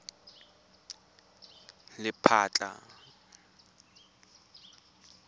lephatla